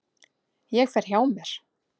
Ég fer hjá mér.